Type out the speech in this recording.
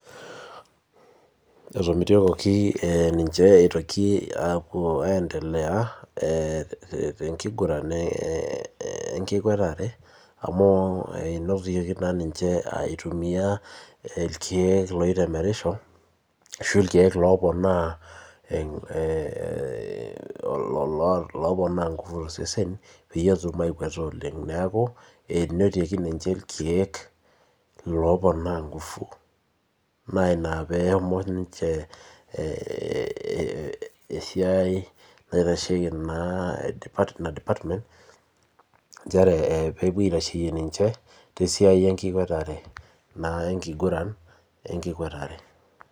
Etomituokoki ninche eitoki, aapuo aendelea te nkiguran, enkikuatareaamu, enotoki naa ninche eitumiae, ilkeek loitemerisho ashu, ilkeek looponaa ngufu tosesen peyie etum aakueta oleng. neeku enetoiki ninche irkeek, looponaa ngufu naa Ina peeshomo ninche esiai naitasheki naa Ina department nchere pee epuoi aitasheyie ninche tesiai enkikuatare.